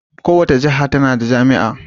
Kowace jiha tana da jami'a.